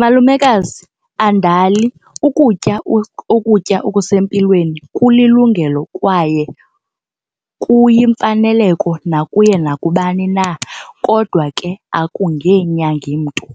Malumekazi, andali ukutya ukutya okusempilweni kulilungelo kwaye kuyimfaneleko nakuye nakubani na kodwa ke akungenyangi mntu.